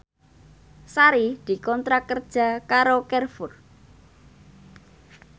Sari dikontrak kerja karo Carrefour